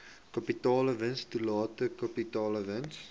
kapitaalwins totale kapitaalwins